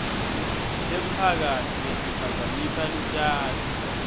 temphakatsi letiphazamisa lutjalo